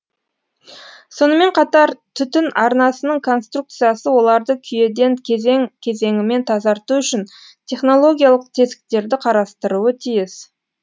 сонымен қатар түтін арнасының конструкциясы оларды күйеден кезең кезеңімен тазарту үшін технологиялық тесіктерді қарастыруы тиіс